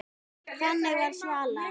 Þannig var Svala.